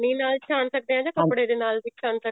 ਨਾਲ ਛਾਣ ਸਕਦੇ ਹਾਂ ਜਾਂ ਕੱਪੜੇ ਦੇ ਨਾਲ ਵੀ ਛਾਣ ਸਕਦੇ ਹਾਂ